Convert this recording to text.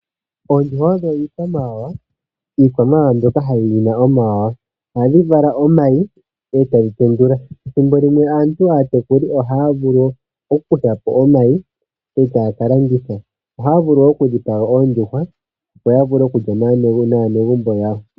Oondjuhwa odho iikwamawawa. Iikwamawawa mbyoka yina omawanawa. Ohadhi vala omayi etadhi tendula. Thimbo limwe aantu aatekuli ohaya vulu oku kuthapo omayi etaya ka landitha. Ohaya vulu woo oku dhipaga oondjuhwa opo ya vule oku lya naanegumbo yawo.